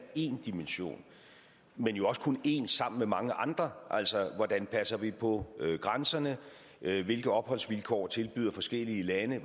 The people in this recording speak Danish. én dimension men jo også kun én sammen med mange andre altså hvordan passer vi på grænserne hvilke opholdsvilkår tilbyder forskellige lande